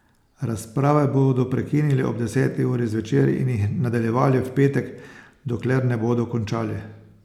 Razprave bodo prekinili ob deseti uri zvečer in jih nadaljevali v petek, dokler ne bodo končali.